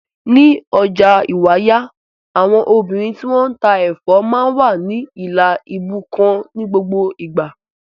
Ní ọjà Ìwàyà, àwọn obìnrin tí wọ́n ń ta ẹ̀fọ́ máa ń wà ní ìlà ibú kan ní gbogbo ìgbà.